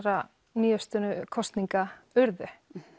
nýafstaðinna kosninga urðu